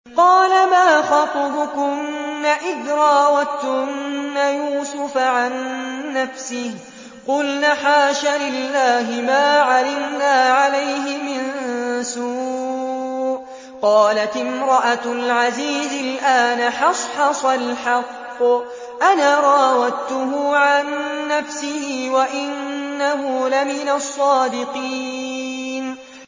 قَالَ مَا خَطْبُكُنَّ إِذْ رَاوَدتُّنَّ يُوسُفَ عَن نَّفْسِهِ ۚ قُلْنَ حَاشَ لِلَّهِ مَا عَلِمْنَا عَلَيْهِ مِن سُوءٍ ۚ قَالَتِ امْرَأَتُ الْعَزِيزِ الْآنَ حَصْحَصَ الْحَقُّ أَنَا رَاوَدتُّهُ عَن نَّفْسِهِ وَإِنَّهُ لَمِنَ الصَّادِقِينَ